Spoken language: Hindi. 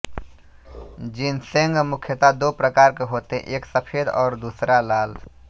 जिनसेंग मुख्यता दो प्रकार के होते है एक सफ़ेद और दूसरा लाल